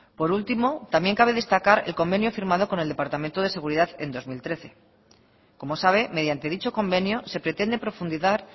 por último también cabe destacar el convenio firmado con el departamento de seguridad en dos mil trece como sabe mediante dicho convenio se pretende profundizar